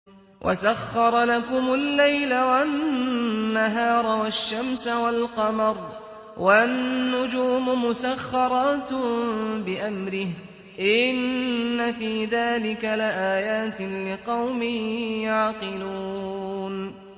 وَسَخَّرَ لَكُمُ اللَّيْلَ وَالنَّهَارَ وَالشَّمْسَ وَالْقَمَرَ ۖ وَالنُّجُومُ مُسَخَّرَاتٌ بِأَمْرِهِ ۗ إِنَّ فِي ذَٰلِكَ لَآيَاتٍ لِّقَوْمٍ يَعْقِلُونَ